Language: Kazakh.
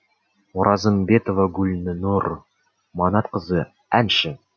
оразымбетова гүлнұр манатқызы әнші